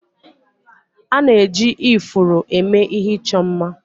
A na-eji ifuru eme ihe ịchọ mma